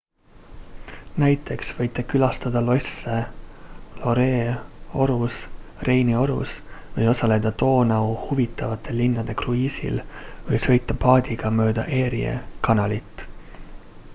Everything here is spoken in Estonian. näiteks võite külastada losse loire'i orus reini orus või osaleda doonau huvitavate linnade kruiisil või sõita paadiga mööda erie kanalit